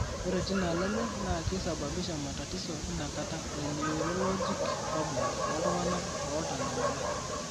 Ore tinaalo enye naa keisababisha matatizo inakata e neurologic problems ooltung'anak ootanyamala.